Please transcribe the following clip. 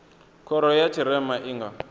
khoro ya tshirema i nga